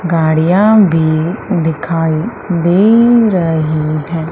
गाड़ियां भी दिखाई दे रही हैं।